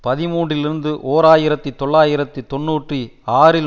பதிமூன்றுலிருந்து ஓர் ஆயிரத்தி தொள்ளாயிரத்து தொன்னூற்றி ஆறில்